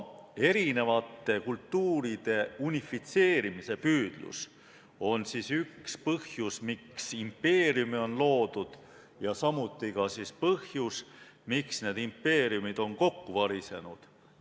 Erinevate kultuuride unifitseerimise püüdlus ongi üks põhjus, miks impeeriume on loodud, ja samuti ka põhjus, miks impeeriumid on kokku varisenud.